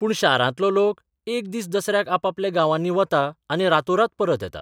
पूण शारांतलो लोक एक दीस दसऱ्याक आपापल्या गांवांनी वता आनी रातोरात परत येता.